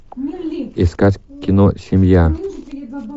искать кино семья